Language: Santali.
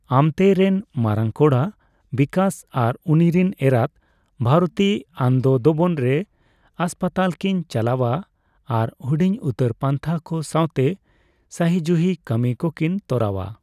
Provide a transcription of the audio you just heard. ᱟᱢᱛᱮ-ᱨᱮᱱ ᱢᱟᱲᱟᱝ ᱠᱚᱲᱟ ᱵᱤᱠᱟᱥ ᱟᱨ ᱩᱱᱤ ᱨᱮᱱ ᱮᱨᱟᱛ ᱵᱷᱟᱨᱚᱛᱤ ᱟᱱᱫᱚᱱᱫᱚᱵᱚᱱ ᱨᱮ ᱦᱟᱥᱯᱟᱛᱟᱞ ᱠᱤᱱ ᱪᱟᱞᱟᱣᱟ ᱟᱨ ᱦᱩᱰᱤᱧ ᱩᱛᱟᱹᱨ ᱯᱟᱱᱛᱷᱟ ᱠᱚ ᱥᱟᱣᱛᱮ ᱥᱟᱹᱦᱤᱡᱩᱦᱤ ᱠᱟᱹᱢᱤ ᱠᱚᱠᱤᱱ ᱛᱚᱨᱟᱣᱟ ᱾